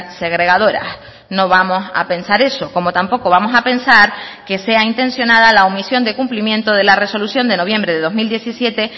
segregadoras no vamos a pensar eso como tampoco vamos a pensar que sea intencionada la omisión de cumplimiento de la resolución de noviembre de dos mil diecisiete